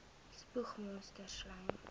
spoeg monsters slym